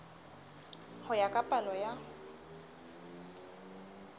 ho ya ka palo ya